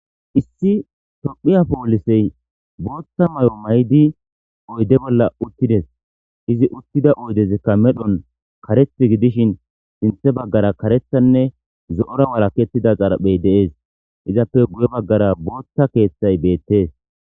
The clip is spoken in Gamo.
Issi tophiya polisey botha mayo mayidi oyde bolla utides izi utida uydezi medhon karethi gidishin sinthe bagara karethanne zo'ora walaketida xaraphey de'ese izape guye bagara botha kethay betes